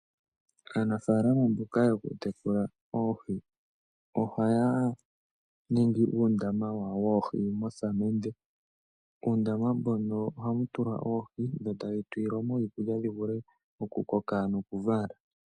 Aanafalama mboka yokutekula oohi ohaya ningi uundama wawo woohi mosamende. Uundama mbono ohamu tulwa oohi dho tadhi tulilwa mo iikulya dhivule okukoka nokuvala.